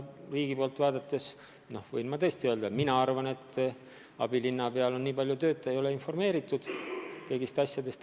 Riigi poolt vaadates võin ma öelda, et minu arvates abilinnapeal on nii palju tööd, et ta ei ole informeeritud kõigist asjadest.